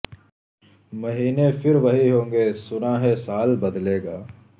مہینے پہر وہی ہونگے سنا ہے سال بدلے گا